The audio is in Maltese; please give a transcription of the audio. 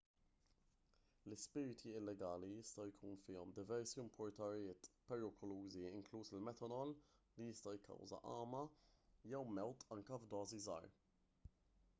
l-ispirti illegali jista' jkun fihom diversi impuritajiet perikolużi inkluż il-metanol li jista' jikkawża għama jew mewt anke f'dożi żgħar